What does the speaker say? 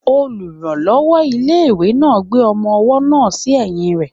Olùrànlọ́wọ́ ilé-ìwé náà gbé ọmọ-ọwọ́ náà sí ẹ̀yìn rẹ